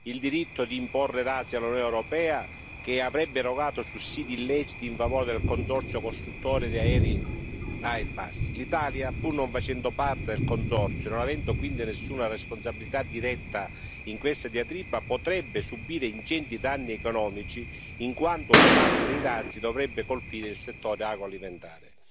il diritto di imporre dazi all'Unione europea, che avrebbe erogato sussidi illeciti in favore del consorzio costruttore di aerei Airbus. L'Italia, pur non facendo parte del consorzio e non avendo quindi nessuna responsabilità diretta in questa diatriba, potrebbe subire ingenti danni economici in quanto una parte dei dazi dovrebbe colpire il settore agroalimentare.